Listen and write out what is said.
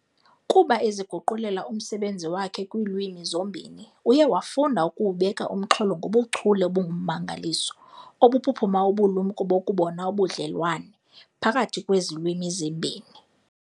Kuba eziguqulela umsebenzi wakhe kwiilwimi zombini, uye wafunda ukuwubeka umxholo ngobuchule obungummangaliso obuphuphuma ubulumnko bokubona ubudlelwane phakathi kwezi lwimi zimbini.